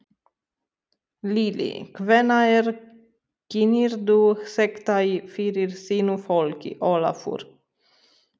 Lillý: Hvenær kynnirðu þetta fyrir þínu fólki, Ólafur?